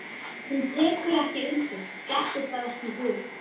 Hún tekur ekki undir, dettur það ekki í hug.